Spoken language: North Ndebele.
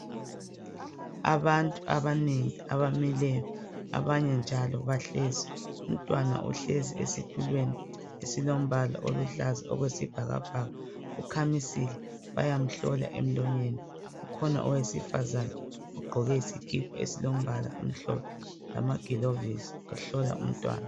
Abantu abanengi abamileyo, abanye njalo bahlezi. Umntwana ohlezi esitulweni esilombala oluhlaza okwesibhakabhaka ukhamisile bayamhlola emlonyeni. Kukhona owesifazane ogqoke isikipa esilombala omhlophe lamagilovisi ehlola umntwana.